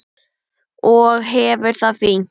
Og hefur það fínt.